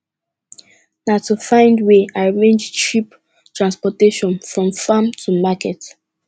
na to find way arrangee cheap transportation from farm to market